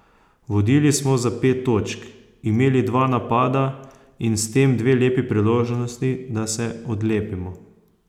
Vodili smo za pet točk, imeli dva napada in s tem dve lepi priložnosti, da se odlepimo.